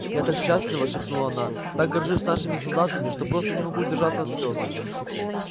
я так счастлива шепнула она так горжусь нашими солдатами что просто не могу удержаться от слез